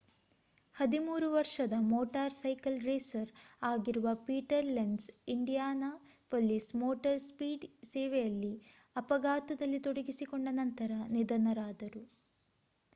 13 ವರ್ಷದ motorcycle racer ಆಗಿರುವ Peter Lenz Indianapolis motor ಸ್ಪೀಡ್‌ವೇಯಲ್ಲಿ ಅಪಘಾತದಲ್ಲಿ ತೊಡಗಿಸಿಕೊಂಡ ನಂತರ ನಿಧನರಾದರು